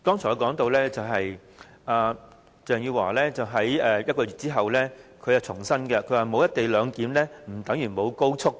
我剛才說到，鄭汝樺在1個月後重申，沒有"一地兩檢"不等於沒有高速。